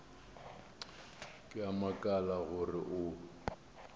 ke a makala gore o